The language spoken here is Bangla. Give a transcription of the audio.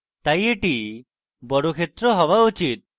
তাই এটি বর্গক্ষেত্র হওয়া উচিত